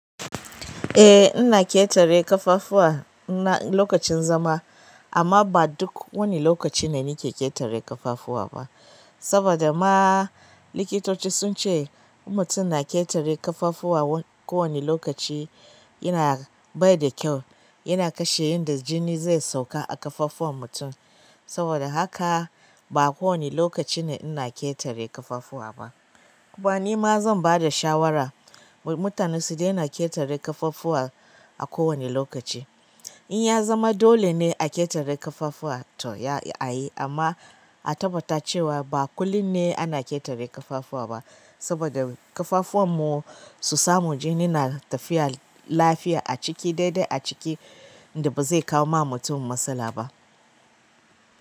Eh ina ƙetare ƙafafuwa na lokacin zama amma ba duk wani lokaci ne nake ƙetare ƙafafuwa ba. Saboda ma likitoci sun ce mutum na ƙetare ƙafafuwa ko wani lokaci yana bai da kyau yana kashe inda jini zai sauka a ƙafafun mutum. Saboda haka ba kowane lokaci ne ina ƙetare ƙafafuwa ba. Kuma nima. Zan bada shawara mutane su daina ƙetare ƙafafuwa ko wane lokaci. In ya zama dole ne a ƙetare ƙafafuwa to ya a yi amma a tabbata cewa ba kullum ne ana ƙetare ƙafafuwa ba saboda ƙafafun mu su samu jini na tafiya lafiya a ciki daidai a ciki inda ba zai kawo ma mutum matsala ba.